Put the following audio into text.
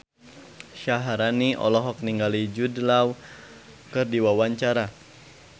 Syaharani olohok ningali Jude Law keur diwawancara